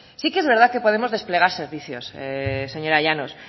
sí que es verdad que podemos desplegar servicios señora llanos